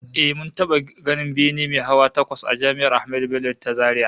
Eh, mun taba ganin bene mai hawa takwas a Jami'ar Ahmadu Bello ta Zaria